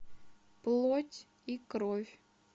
плоть и кровь